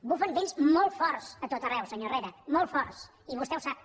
bufen vents molt forts a tot arreu senyor herrera molt forts i vostè ho sap